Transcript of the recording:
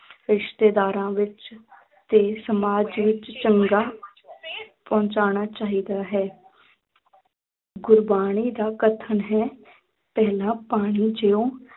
ਰਿਸ਼ਤੇਦਾਰਾਂ ਵਿੱਚ ਤੇ ਸਮਾਜ ਵਿੱਚ ਚੰਗਾ ਪਹੁੰਚਣਾ ਚਾਹੀਦਾ ਹੈ ਗੁਰਬਾਣੀ ਦਾ ਕਥਨ ਹੈ ਪਹਿਲਾਂ ਪਾਣੀ ਜਿਉਂ